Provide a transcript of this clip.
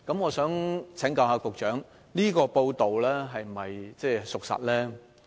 我想請教局長，這則報道是否屬實？